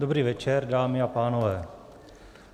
Dobrý večer, dámy a pánové.